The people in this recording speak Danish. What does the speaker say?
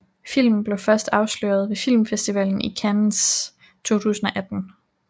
Filmen blev først afsløret ved Filmfestivalen i Cannes 2018